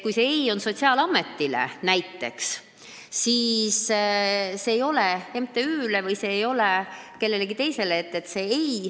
Kui näiteks sotsiaalametile öeldakse ei, siis see ei tähenda ei-d MTÜ-le või kellelegi teisele.